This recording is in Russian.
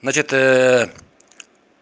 значит